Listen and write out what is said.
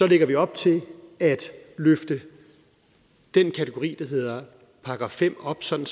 lægger vi op til at løfte den kategori der hedder § fem op sådan